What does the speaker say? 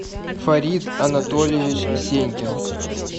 фарид анатольевич сенькин